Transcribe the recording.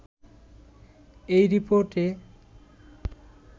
এই রিপোর্টে